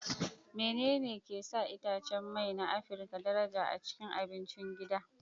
Menene ke sa itacen mai na Afirka daraja a cikin abincin gida?